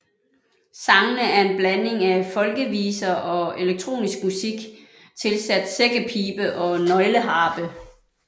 Sangene er en blanding af folkeviser og elektronisk musik tilsat sækkepibe og nøgleharpe